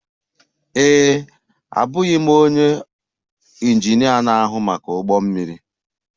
Ee e, abụghị m onye injinia na-ahụ maka ụgbọ mmiri.